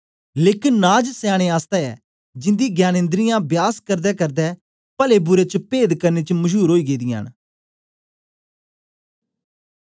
लेकन नाज सयानें आसतै ऐ जिंदी ज्ञानेन्दिरियाँ बयास करदेकरदे पले बुरे च पेद करने च मशूर ओई गेदियां न